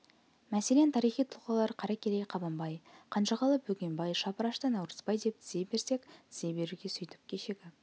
мәселен тарихи тұлғалар қаракерей қабанбай қанжығалы бөгенбай шапырашты наурызбай деп тізе берсек тізе беруге сөйтіп кешегі